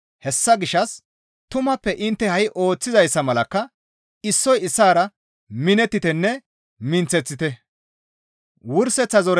Hessa gishshas tumappe intte ha7i ooththizayssa malakka issoy issaara minettitenne minththeththite.